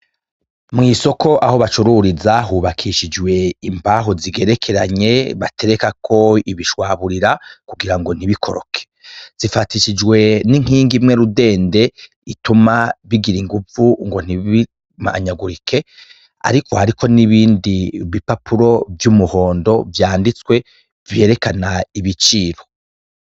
Mw'isoko aho bacururiza, hubakishijwe imbaho zigerekeranye baterekako ibishwaburira kugira ngo ntibikoroke, zifatishijwe n'inkingi imwe rudende ituma bigira inguvu ngo ntibimanyagurike, ariko hariko n'ibindi bipapuro vy'umuhondo vyanditswe vyerekana ibiciro.